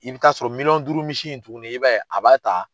I bɛ t'a sɔrɔ miliyɔn duuru misi in tuguni i b'a ye a b'a ta